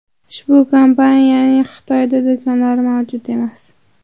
Ushbu kompaniyaning Xitoyda do‘konlari mavjud emas.